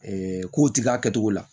k'o tigɛ a kɛcogo la